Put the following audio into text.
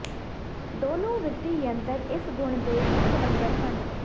ਦੋਨੋ ਵਿੱਤੀ ਯੰਤਰ ਇਸੇ ਗੁਣ ਦੇ ਇੱਕ ਨੰਬਰ ਹੈ